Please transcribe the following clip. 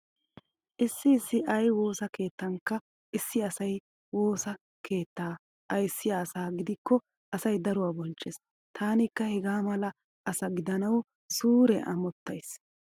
Issi issi ayi woosa keettanikka issi asay woosa keettaa ayssiya asa gidikko asay daruwa bonchchees. Taanikka hegaa mala asa gidanawu suure amottays.